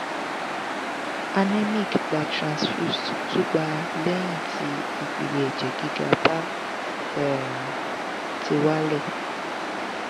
anemic gba transfused tun gba lehin ti ipele eje giga ba um ti wale